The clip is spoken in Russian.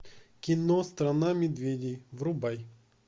кино страна медведей врубай